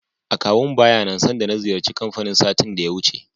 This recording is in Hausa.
Akawun baya nan sanda na ziyarci kanfanin satin da ya wuce.